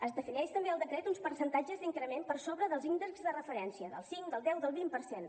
es defineixen també al decret uns percentatges d’increment per sobre dels índexs de referència del cinc del deu del vint per cent